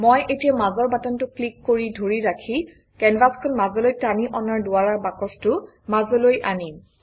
মই এতিয়া মাজৰ বাটনটো ক্লিক কৰি ধৰি ৰাখি কেনভাচখন মাজলৈ টানি অনাৰ দ্বাৰা বাকচটো মাজলৈ আনিম